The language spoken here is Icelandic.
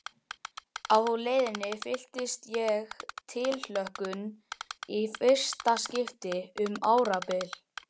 Á leiðinni fylltist ég tilhlökkun í fyrsta skipti um árabil.